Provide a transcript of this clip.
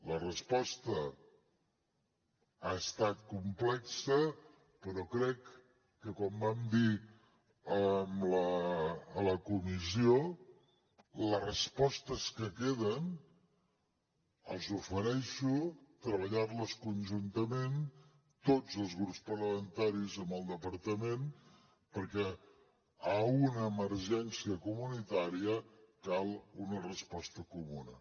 la resposta ha estat complexa però crec que com vam dir a la comissió les respostes que queden els ofereixo treballar les conjuntament tots els grups parlamentaris amb el departament perquè a una emergència comunitària cal una resposta comuna